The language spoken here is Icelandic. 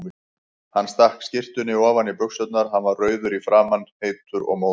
Hann stakk skyrtunni ofan í buxurnar, hann var rauður í framan, heitur og móður.